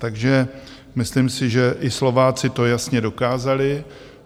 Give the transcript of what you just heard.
Takže myslím si, že i Slováci to jasně dokázali.